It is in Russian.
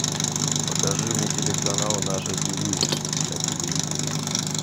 покажи мне телеканал наше тв на телевизоре